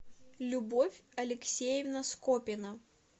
любовь алексеевна скопина